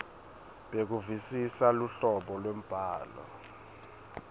bekuvisisa luhlobo lwembhalo